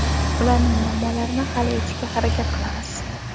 ularning muammolarini hal etishga harakat qilamiz.